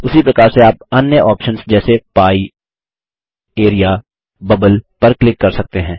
उसी प्रकार से आप अन्य ऑप्शन्स जैसे पाइ एआरईए बबल पर क्लिक कर सकते हैं